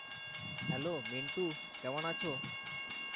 Hello Mintu কেমন আছো?